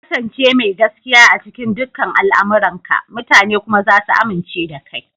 Ka ƙasance mai gaskiya a cikin dukan al'amuranka, mutane kuma za su amince da kai.